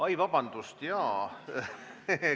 Oi, vabandust!